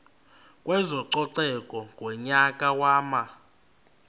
kwezococeko ngonyaka wama